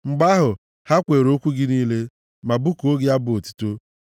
Mgbe ahụ, ha kweere okwu gị niile, ma bụkuo gị abụ otuto.